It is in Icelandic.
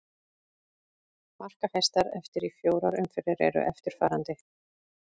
Markahæstar eftir í fjórar umferð eru eftirfarandi: